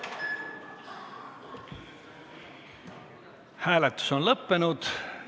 Hääletustulemused Hääletus on lõppenud.